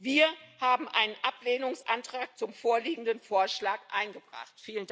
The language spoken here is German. Wir haben einen Ablehnungsantrag zum vorliegenden Vorschlag eingebracht.